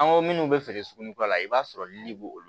An ko minnu bɛ feere suguni kura la i b'a sɔrɔ lili bɛ olu